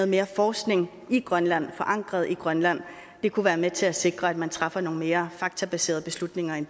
mere forskning i grønland forankret i grønland det kunne være med til at sikre at man træffer nogle mere faktabaserede beslutninger end